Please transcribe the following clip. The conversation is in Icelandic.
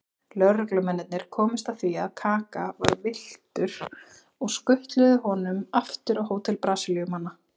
Lögreglumennirnir komust að því að Kaka var villtur og skutluðu honum aftur á hótel Brasilíumanna.